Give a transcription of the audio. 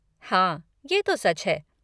हाँ, ये तो सच है।